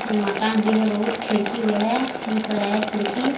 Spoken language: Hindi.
मकान भी है बहुत खिड़की भी है दिख रहा है खिड़की।